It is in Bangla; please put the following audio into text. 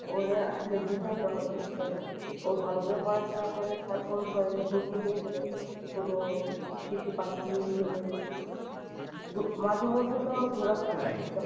ওরে আসলে বুঝাইতে হবে যে ও ভালো করে পড়াশোনা করে তারপর ঘুরতে নিয়ে গেলেন কোন শিশু park নিয়ে গেলেন মাঝেমধ্যে তোমার ঘোরাফেরা করতে হবে।